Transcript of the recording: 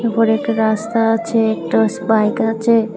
ওপরে একটা রাস্তা আছে একটাস বাইক আছে।